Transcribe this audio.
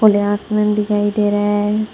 ये आसमान दिखाई दे रहा है।